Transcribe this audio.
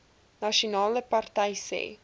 nasionale party sê